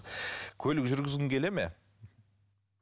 көлік жүргізгің келе ме